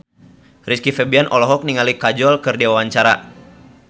Rizky Febian olohok ningali Kajol keur diwawancara